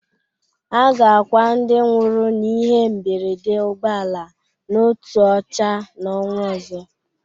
A ga-akwa ndị nwụrụ n'ihe mberede ụgbọala n'Otuocha n'onwa ọzọ.